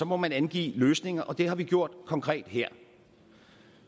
må man angive løsninger og det har vi gjort konkret her